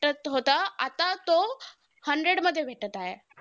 भेटत होतं आता तो hundred मध्ये भेटतं आहे.